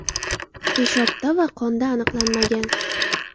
Peshobda va qonda aniqlanmagan.